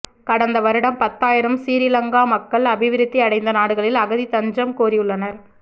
கடந்த வருடம் பத்தாயிரம் சிறீலங்கா மக்கள் அபிவிருத்தி அடைந்த நாடுகளில் அகதி தஞ்சம் கோரியுள்ளனர்